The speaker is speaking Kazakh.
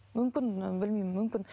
мүмкін білмеймін мүмкін